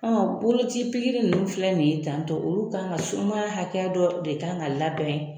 An boloci ninnu filɛ nin tan tɔ olu kan ka sumaya hakɛ dɔ de kan ka labɛn